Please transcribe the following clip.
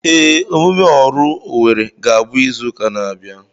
Ee, emume oru Owere ga-abụ izuka n'abia abịa.